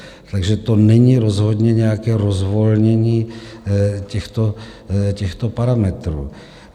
Takže to není rozhodně nějaké rozvolnění těchto parametrů.